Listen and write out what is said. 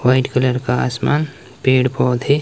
white colour का आसमान पेड़ पौधे--